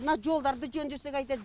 мына жолдарды жөндесе қайтеді